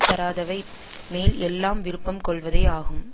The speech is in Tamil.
தராதவை மேல் எல்லாம் விருப்பம் கொள்வதே ஆகும்